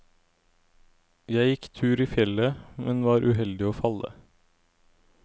Jeg gikk tur i fjellet, men var uheldig å falle.